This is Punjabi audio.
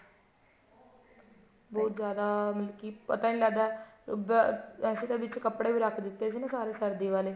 ਬਹੁਤ ਜਿਆਦਾ ਮਤਲਬ ਕੀ ਪਤਾ ਹੀ ਨਹੀ ਲੱਗਦਾ ਅਹ ਅਸੀਂ ਤਾਂ ਵਿੱਚ ਕੱਪੜੇ ਵੀ ਰੱਖ ਦਿੱਤੇ ਸੀ ਸਾਰੇ ਸਰਦੀ ਵਾਲੇ